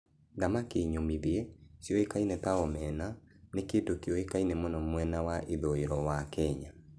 Thamaki nyũmithie, cioĩkaine ta omena, nĩ kĩndũ kĩoĩkaine mũno mwena wa ithũĩro wa Kenya.